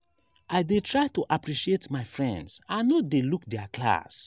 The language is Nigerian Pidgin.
i dey like to appreciate my friends i no dey look their class.